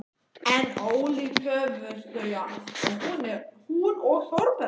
En ólíkt höfðust þau að, hún og Þórbergur.